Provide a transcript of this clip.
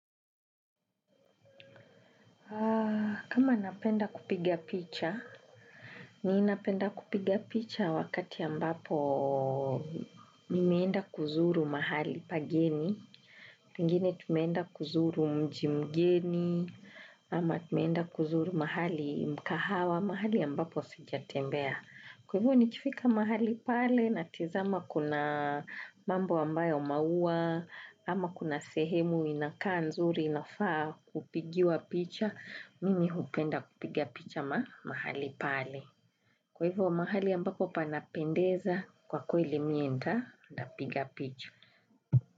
Kama napenda kupiga picha, ni napenda kupiga picha wakati ambapo nimeenda kuzuru mahali pageni, mingine tumeenda kuzuru mji mgeni, ama tumeenda kuzuru mahali mkahawa, mahali ambapo sijatembea. Kwa hivyo nikifika mahali pale na tizama kuna mambo wambayo maua, ama kuna sehemu inakaa nzuri inafaa kupigiwa picha, mimi hupenda kupiga picha mahali pale. Kwa hivyo mahali ambapo panapendeza kwa kweli mie nta piga picha.